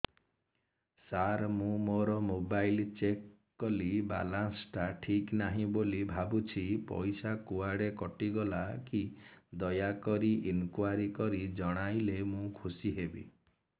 ସାର ମୁଁ ମୋର mobile check କଲି ବାଲାନ୍ସ ଟା ଠିକ ନାହିଁ ବୋଲି ଭାବୁଛି ପଇସା କୁଆଡେ କଟି ଗଲା କି ଦୟାକରି ଇନକ୍ୱାରି କରି ଜଣାଇଲେ ମୁଁ ଖୁସି ହେବି